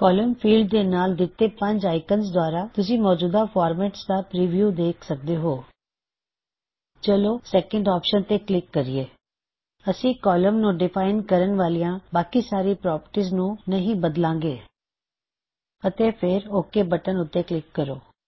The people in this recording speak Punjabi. ਕੌਲਮ ਫੀਲਡ ਦੇ ਨਾਲ ਦਿੱਤੇ ਪੰਜ ਆਇਕਨਜ਼ ਦੁਆਰਾ ਤੁਸੀ ਮੌਜੂਦਾ ਫਾਰਮੈਟਜ਼ ਦਾ ਪਰੀਵਯੂ ਵੇਖ ਸਕਦੇ ਹੋਂ ਚਲੋ ਸੈਕੰਡ ਆਪਸ਼ਨ ਤੇ ਕਲਿੱਕ ਕਰਿਏ ਅਸੀ ਕਾਲ਼ਮ ਨੂੰ ਡਿਫਾਇਨ ਕਰਣ ਵਾਲਿਆ ਬਾਕੀ ਸਾਰੀ ਪ੍ਰੌੱਪਰਟੀਜ਼ ਨੂੰ ਨਹੀ ਬਦਲਾਂ ਗੇ ਅਤੇ ਫੇਰ ਓਕ ਬਟਨ ਉੱਤੇ ਕਲਿੱਕ ਕਰੋ